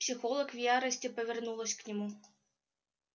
психолог в ярости повернулась к нему